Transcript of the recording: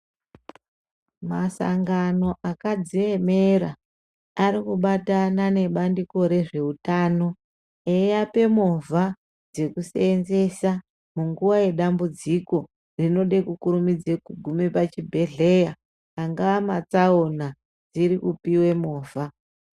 Masangano akadziemera ari kubatana nebandiko rezveutano eiape movha dzekuseenzesa munguwa yedambudziko rinode kukurumidze kugume pachibhedheya angaa matsaona dziri kupiwe movha.